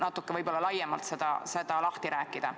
Ehk võiksite seda natuke laiemalt lahti rääkida.